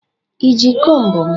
Ị ji komb m?